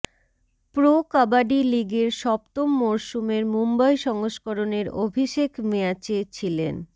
pro kabaddi লিগের সপ্তম মরসুমের মুম্বই সংস্করণের অভিষেক ম্য়াচে ছিলেন